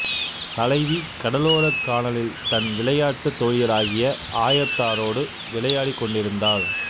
தலைவி கடலோரக் கானலில் தன் விளைட்டுத் தோழியராகிய ஆயத்தாரோடு விளையாடிக்கொண்டிருந்தாள்